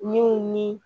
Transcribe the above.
Min ni